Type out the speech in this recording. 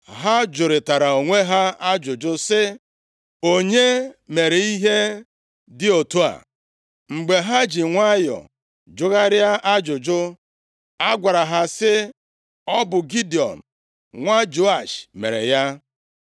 Ha jụrịtara onwe ha ajụjụ sị, “Onye mere ihe dị otu a?” Mgbe ha ji nwayọọ jụgharịa ajụjụ, a gwara ha sị, “Ọ bụ Gidiọn nwa Joash mere ya.”